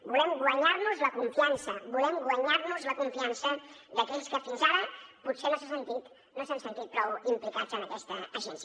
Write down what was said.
volem guanyar nos en la confiança volem guanyar nos la confiança d’aquells que fins ara potser no s’han sentit prou implicats en aquesta agència